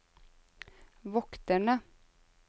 vokterne